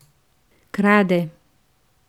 Krade.